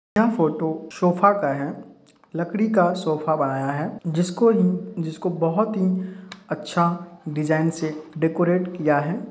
ये photo sofa का है लकड़ी का सोफा बनाया है जिसको बहोत ही अच्छा डिज़ाइन से डेकोरेट किया है।